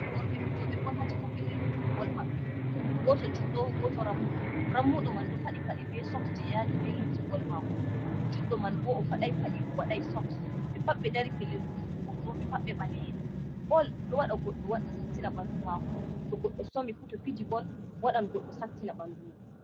Worɓe fijoɓe bol ha caka pellel fijugo bol maɓɓe, goto juddo goto rammuɗo, rammuɗo man ɗo faɗi paɗe be soks je yadi be lumse bol mako, judɗo man bo o faɗai paɗe o waɗai soks, ɓe pat ɓe dari pellel hosugo woto on ɓe pat ɓe ɓale'en. Bol ɗo waɗa goɗɗo waɗ sattina ɓandu mako, to goɗɗo somi fu to fiji bol waɗan goɗɗo sattina ɓandu mum.